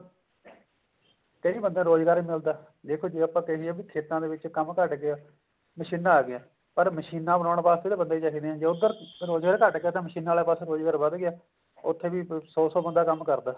ਕਈ ਬੰਦਿਆਂ ਨੂੰ ਰੋਜ਼ਗਾਰ ਵੀ ਮਿਲਦਾ ਦੇਖੋ ਜੇ ਆਪਾਂ ਕਹਿਏ ਖੇਤਾਂ ਦੇ ਵਿੱਚ ਕੰਮ ਘਟ ਗਿਆ ਮਸ਼ੀਨਾ ਅਗੀਆਂ ਪਰ ਮਸ਼ੀਨਾ ਬਣਾਉਣ ਵਾਸਤੇ ਤਾਂ ਬੰਦੇ ਹੀ ਚਾਹੀਦੇ ਨੇ ਜੇ ਉੱਧਰ ਰੋਜ਼ਗਾਰ ਘੱਟ ਗਿਆ ਤਾਂ ਮਸ਼ੀਨਾ ਵਾਲੇ ਪਾਸੇ ਰੋਜ਼ਗਾਰ ਵੱਧ ਗਿਆ ਉੱਥੇ ਵੀ ਸੋ ਸੋ ਬੰਦਾ ਕੰਮ ਕਰਦਾ